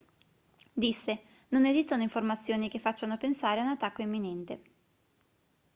disse non esistono informazioni che facciano pensare a un attacco imminente